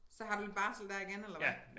Så har du lidt barsel der igen eller hvad?